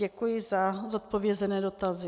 Děkuji za zodpovězení dotazů.